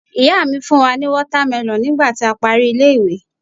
ìyá mi fún wa ni watermelon nigba ti a pari ile iwe